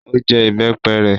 Ó jẹ ìbẹ́pẹ rẹ?